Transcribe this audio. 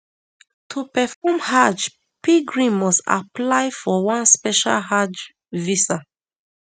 to perform hajj pilgrim must apply for one special hajj visa